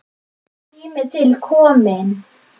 Tími til kominn.